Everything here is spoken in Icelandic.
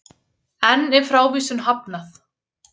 Enn er frávísun hafnað